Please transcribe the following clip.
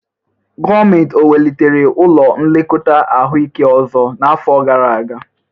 Gọọmenti ọ wulitere ụlọ nlekọta ahụike ọzọ n'afọ gara aga?